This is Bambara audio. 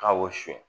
K'a wɔsi